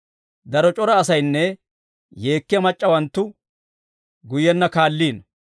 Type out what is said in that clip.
Daro c'ora asaynne yeekkiyaa mac'c'awanttu guyyenna kaalliino.